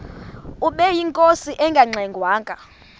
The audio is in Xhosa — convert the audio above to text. ubeyinkosi engangxe ngwanga